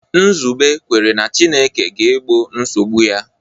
Nzube kwere na Chineke ga-egbo nsogbu ya.